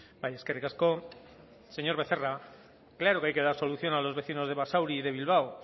bai eskerrik asko señor becerra claro que hay que dar solución a los vecinos de basauri y de bilbao